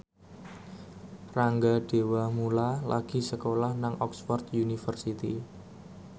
Rangga Dewamoela lagi sekolah nang Oxford university